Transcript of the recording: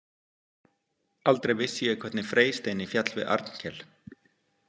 Aldrei vissi ég hvernig Freysteini féll við Arnkel.